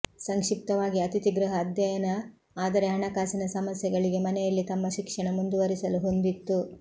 ಸಂಕ್ಷಿಪ್ತವಾಗಿ ಅತಿಥಿ ಗೃಹ ಅಧ್ಯಯನ ಆದರೆ ಹಣಕಾಸಿನ ಸಮಸ್ಯೆಗಳಿಗೆ ಮನೆಯಲ್ಲಿ ತಮ್ಮ ಶಿಕ್ಷಣ ಮುಂದುವರಿಸಲು ಹೊಂದಿತ್ತು